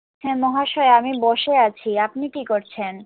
হ্যাঁ মহাশয়া আমি বসে আছি আপনি কি করছেন